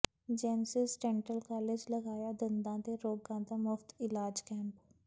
genesis dental college ਲਗਾਇਆ ਦੰਦਾਂ ਦੇ ਰੋਗਾਂ ਦਾ ਮੁਫ਼ਤ ਇਲਾਜ ਕੈਂਪ